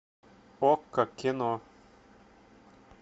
окко кино